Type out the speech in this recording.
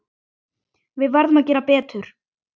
Við verðum að gera betur.